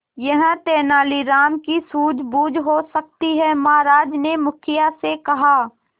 यह तेनालीराम की सूझबूझ हो सकती है महाराज ने मुखिया से कहा